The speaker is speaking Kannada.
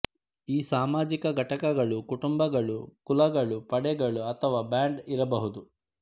ಈ ಸಾಮಾಜಿಕ ಘಟಕಗಳು ಕುಟುಂಬಗಳು ಕುಲಗಳು ಪಡೆಗಳು ಅಥವಾ ಬ್ಯಾಂಡ್ ಇರಬಹುದು